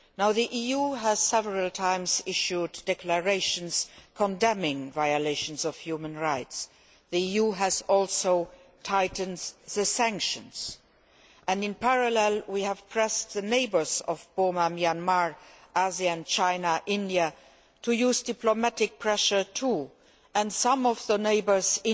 The EU has several times issued declarations condemning violations of human rights. The EU has also tightened sanctions and, in parallel, we have pressed the neighbours of Burma Myanmar ASEAN, China, India to use diplomatic pressure too, and some of the neighbours are